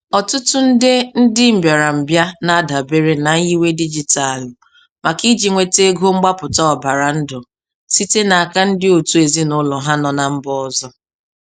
Ọtụtụ nde ndị mbịarambịa na-adabere na nyiwe dijitalụ maka iji nweta ego mgbapụta ọbara ndụ site n'aka ndị òtù ezinụlọ ha nọ na mba ọzọ.